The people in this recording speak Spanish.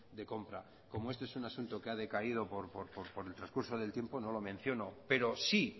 de compra como este es un asunto que ha decaído por el trascurso del tiempo no lo menciono pero sí